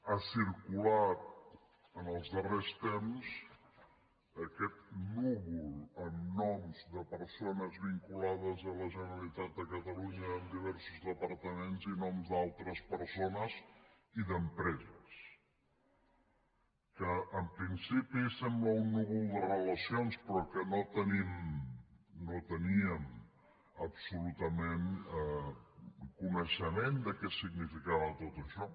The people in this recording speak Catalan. ha circulat en els darrers temps aquest núvol amb noms de persones vinculades a la generalitat de catalunya en diversos departaments i noms d’altres persones i d’empreses que en principi sembla un núvol de relacions però que no tenim no teníem absolutament coneixement de què significava tot això